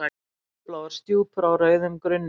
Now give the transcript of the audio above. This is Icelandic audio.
Fjólubláar stjúpur á rauðum grunni.